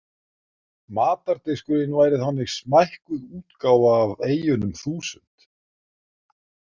Matardiskurinn væri þannig smækkuð útgáfa af eyjunum þúsund.